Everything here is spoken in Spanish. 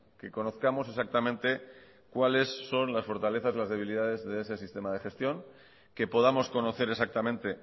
que conozcamos exactamente cuáles son las fortalezas y debilidades de ese sistema de gestión que podamos conocer exactamente